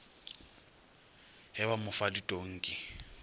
ge ba mo fa ditonki